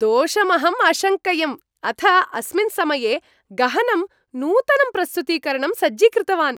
दोषमहं अशङ्कयम्, अथ अस्मिन् समये गहनं नूतनं प्रस्तुतीकरणं सज्जीकृतवान्।